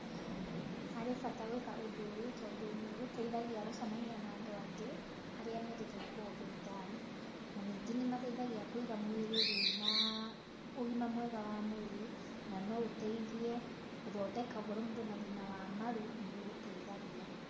Harĩ bata gwĩka ũndũ ũyũ tondũ nĩ ũgũteithagia gũcemania na andũ angĩ arĩa mendete gwĩka ũndũ ũyũ tawe, na ningĩ nĩ mateithagia Kũiga mwĩrĩ wĩna ũgima mwega wa mwĩrĩ, na no ũteithie gũthondeka ũngorwo mũndũ ena thĩna wa maru nĩ gũgũteithagia.